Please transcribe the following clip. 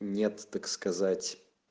нет так сказать